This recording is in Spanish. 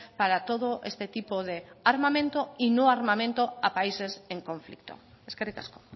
para todo este tipo de armamento y no armamento a países en conflicto eskerrik asko